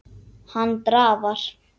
Hann drafar.